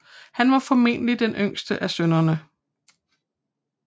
Han var formentlig den yngste af sønnerne